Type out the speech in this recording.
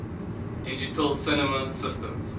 digital cinema systems